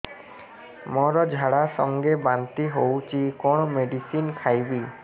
ମୋର ଝାଡା ସଂଗେ ବାନ୍ତି ହଉଚି କଣ ମେଡିସିନ ଖାଇବି